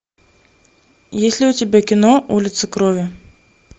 есть ли у тебя кино улица крови